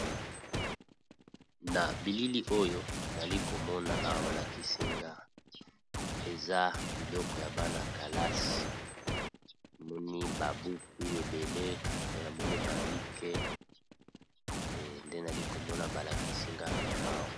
Na bilili oyo nali komona awa ba lakisi nga eza biloko ya bana kalasi, namoni ba buku ebele mpe namoni ba bic nde nali komona ba lakisi nga awa.